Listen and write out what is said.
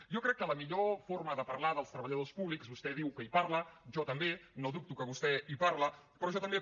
jo crec que la millor forma de parlar dels treballadors públics vostè diu que hi parla jo també no dubto que vostè hi parla però jo també